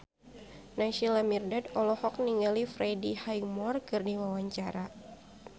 Naysila Mirdad olohok ningali Freddie Highmore keur diwawancara